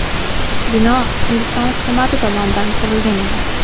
Bino Hindiston hukumati tomonidan qurilgan edi.